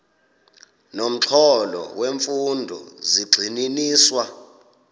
nomxholo wemfundo zigxininiswa